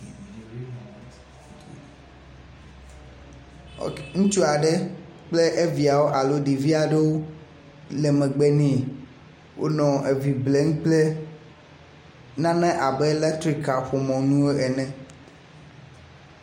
ŋutsu aɖe kple eviawo aɖo ɖevia ɖowo le megbe nɛ wónɔ evi blem kple nane abe letrik kaƒomɔ nuwo ene